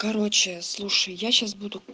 короче слушай я сейчас буду